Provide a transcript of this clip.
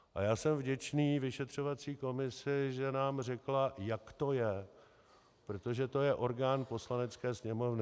A já jsem vděčný vyšetřovací komisi, že nám řekla, jak to je, protože to je orgán Poslanecké sněmovny.